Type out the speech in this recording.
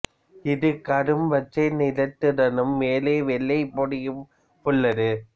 இது கரும் பச்சை நிறத்துடனும் மேலே வெள்ளை பொடியும் உள்ளது